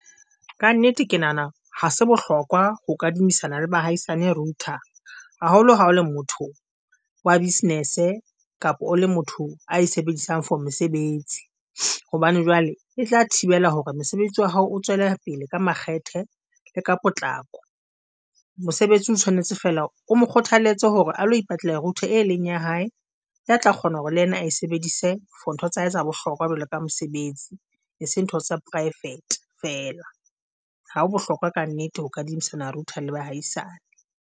Ka nnete ke nahana ha se bohlokwa ho kadimisana le baahisane router haholo ha o le motho wa business kapa o le motho a e sebedisang for mesebetsi hobane jwale e tla thibela hore mesebetsi wa hao o tswele pele ka makgethe le ka potlako. Mosebetsi o tshwanetse fela o mo kgothaletse hore a lo ipatale router e leng ya hae, ya tla kgona hore le yena a sebedise for ntho tsa hae tsa bohlokwa jwalo ka mesebetsi e se ntho tsa private fela. Ha ho bohlokwa ka nnete ho kadimisana router le bahaisane.